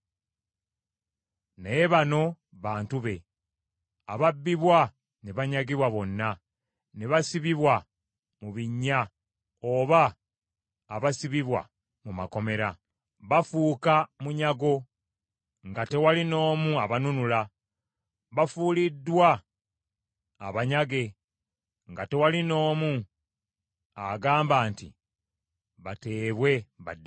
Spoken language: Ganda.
Naye bano, bantu be, ababbibwa ne banyagibwa bonna ne basibibwa mu binnya oba abasibibwa mu makomera. Bafuuka munyago nga tewali n’omu abanunula, bafuuliddwa abanyage nga tewali n’omu agamba nti, “Bateebwe baddeyo.”